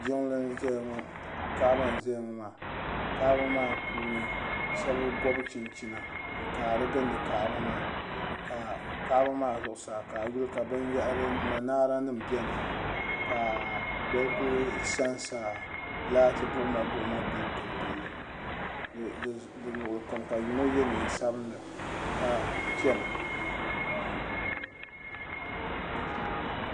Kaaba n zaya ŋɔ maa kaaba maa puuni sheba gobi chinchina n jaara n gindi kaaba maa ka kaaba maa zuɣusaa ka a yuli ka manaara nima biɛni ka bɛ kuli sansa laati buɣuma buɣuma n gili gili li di luɣuli kam ka yino ye niɛn'sabila ka chena.